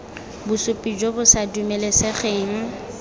bosupi jo bo sa dumelesegeng